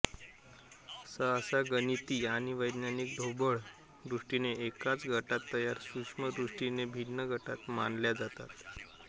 सहसा गणिती आणि वैज्ञानिक ढोबळ दृष्टीने एकाच गटात तर सूक्ष्म दृष्टीने भिन्न गटांत मानल्या जातात